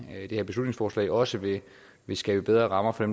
her beslutningsforslag også vil skabe bedre rammer for